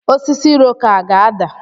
Osisi Iroko a ga-ada?